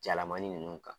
Jalamani ninnu ka